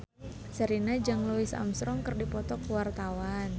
Sherina jeung Louis Armstrong keur dipoto ku wartawan